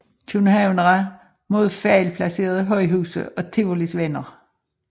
Københavnere mod fejlplacerede højhuse og Tivolis venner